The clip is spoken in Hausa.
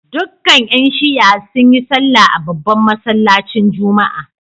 Dukkan ‘yan Shi’a sun yi sallah a babban masallacin Juma’a